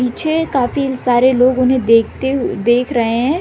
पीछे काफी सारे लोग उन्हें देखते हुए देख रहे है।